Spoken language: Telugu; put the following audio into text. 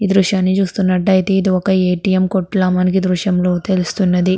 ఈ దృశ్యం చూస్తున్నట్టాయితే ఇది ఒక ఎ. టి. ఎం. కొట్టులా మనకి ఈ దృశ్యం లో తెలుస్తున్నది.